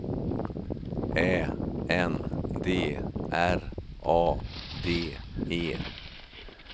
Ä N D R A D E